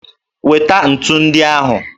Weta ntu ndị ahụ!